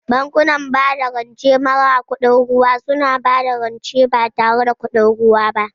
Bankunan bada rance mara kudin ruwa suna ba da rance ba tare da kuɗin ruwa ba.